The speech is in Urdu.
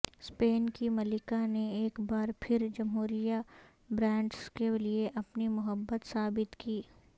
سپین کی ملکہ نے ایک بار پھر جمہوریہ برانڈز کے لئے اپنی محبت ثابت کی